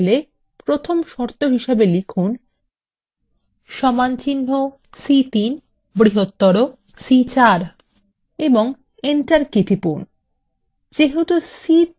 in cellএ প্রথম শর্ত হিসাবে লিখুন সমানচিহ্ন c3 বৃহত্তর c4 এবং enter key টিপুন